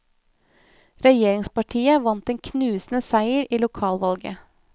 Regjeringspartiet vant en knusende seier i lokalvalget.